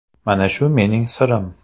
Mana shu mening sirim.